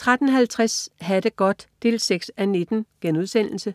13.50 Ha' det godt 6:19*